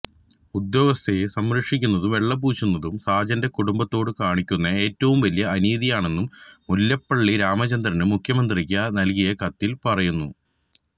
ഉദ്യോഗസ്ഥയെ സംരക്ഷിക്കുന്നതും വെള്ളപൂശുന്നതും സാജന്റെ കുടുംബത്തോട് കാണിക്കുന്ന ഏറ്റവും വലിയ അനീതിയാണെന്നും മുല്ലപ്പള്ളി രാമചന്ദ്രന് മുഖ്യമന്ത്രിക്ക് നല്കിയ കത്തില് പറയുന്നു